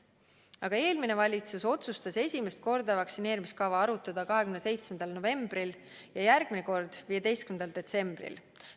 Aga eelmine valitsus otsustas esimest korda vaktsineerimiskava arutada 27. novembril ja järgmine kord 15. detsembril.